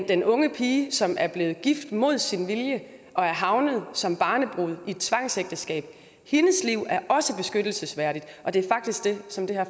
den unge pige som er blevet gift mod sin vilje og er havnet som barnebrud i et tvangsægteskab er hendes liv også beskyttelsesværdigt og det er faktisk det som